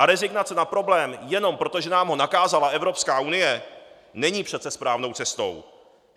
A rezignace na problém jenom proto, že nám ho nakázala Evropská unie, není přece správnou cestou.